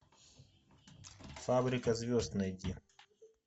фабрика звезд найди